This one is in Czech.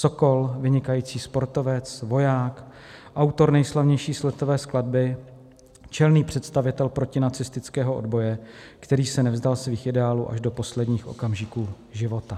Sokol, vynikající sportovec, voják, autor nejslavnější sletové skladby, čelný představitel protinacistického odboje, který se nevzdal svých ideálů až do posledních okamžiků života.